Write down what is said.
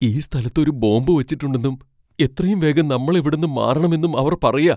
ഈ സ്ഥലത്ത് ഒരു ബോംബ് വച്ചിട്ടുണ്ടെന്നും എത്രയും വേഗം നമ്മൾ ഇവിടെന്ന് മാറണമെന്നും അവർ പറയാ.